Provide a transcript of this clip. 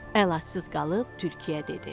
Əlacsız qalıb tülkiyə dedi.